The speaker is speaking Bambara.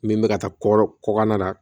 Min bɛ ka taa kɔ kɔkan na